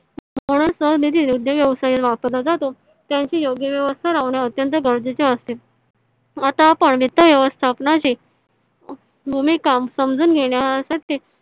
म्हणून सरळ निधी उद्योग व्यवसायाला वापरला जातो. त्याचे योग्य व्यवस्था लावणे अत्यंत गरजेचे असते . आता आपण वित्त व्यवस्थापन शी भूमी काम समझून घेण्यासाठी